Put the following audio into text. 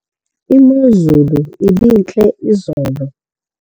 imozulu ibintle izolo